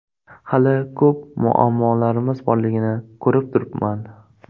Hali ko‘p muammolarimiz borligini ko‘rib turibman.